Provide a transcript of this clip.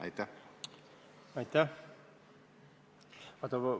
Aitäh!